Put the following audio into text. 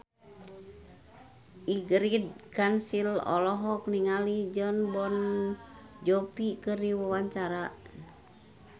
Ingrid Kansil olohok ningali Jon Bon Jovi keur diwawancara